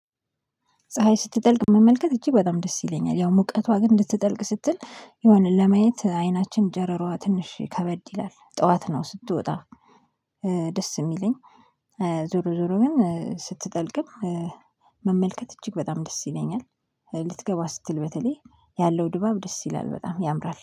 ፀሀይ ስትጠልቅ መመልከት እጅግ በጣም ደስ ይለኛል ያው ሙቀቷ ግን እንድትጠልቅ ስትል የሆነ ለማየት አይናችን ጨረሯ ትንሽ ከበድ ይላል ጠዋት ነው ስትወጣ ደስ የሚለኝ። ዙሮ ዙሮ ግን ስትጠልቅም መመልከት እጅግ በጣም ደስ ይለኛል። ልትገባ ስትል በተለይ ያለው ድባብ ደስ ይላል በጣም ያምራል